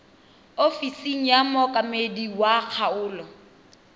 ofising ya mookamedi wa kgaolo